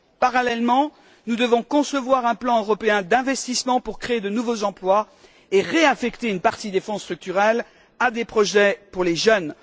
Parallèlement, nous devons concevoir un plan européen d'investissement pour créer de nouveaux emplois et réaffecter une partie des Fonds structurels à des projets pour les jeunes.